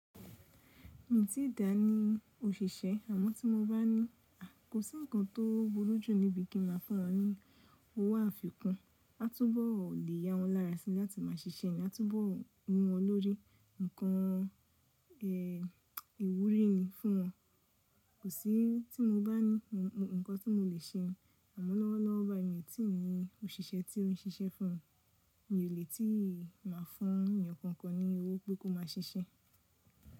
Mii ti dà ní òṣìṣẹ́ àmọ́ tí mo bá ní kò sí ǹkan tó burú jù níbi kí ma fún wọn ní owó àfikún. A túbọ̀ le ya wọ́n lára si láti máa ṣiṣẹ́ ni a túbọ̀ wu wọn lórí. Ǹkan, ẹ́ ìwúrí ni fún wọn. Kò sí tí mo bá ní ǹkan tí mo le ṣe ni. Àmọ́ lọ́wọ́lọ́wọ́ bá mii tì ni òṣìṣẹ́ tí ó ń ṣiṣẹ́ fún mi. Mi ò lè tí ì má fún èèyàn kankan ní owó pé kó má ṣiṣẹ́.